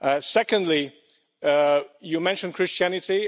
Secondly, you mentioned Christianity.